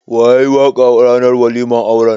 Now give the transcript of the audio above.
Wa yayi waƙa ranar waliman auran?